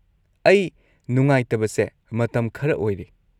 ꯑꯩ ꯅꯨꯡꯉꯥꯏꯇꯕꯁꯦ ꯃꯇꯝ ꯈꯔ ꯑꯣꯏꯔꯦ꯫